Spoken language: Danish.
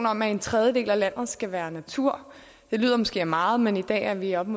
om at en tredjedel af landet skal være natur det lyder måske af meget men i dag er vi oppe